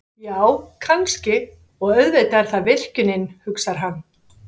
Já, kannski, og auðvitað er það virkjunin, hugsar hann.